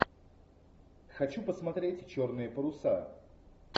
хочу посмотреть черные паруса